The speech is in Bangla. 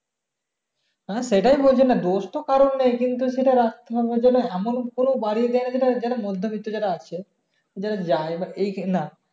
হ্যাঁ সেটাই বলছি দোষ তো কারোর নেই কিন্তু সেটা এমন কোন বাড়ি নেই যেটা যেট মধ্য বিত্ত যারা আছে যারা বা এই খে না